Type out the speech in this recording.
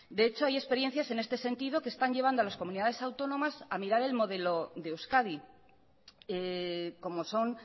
de hecho hay experiencias en este sentido que están llevando a las comunidades autónomas a mirar el modelo de euskadi como son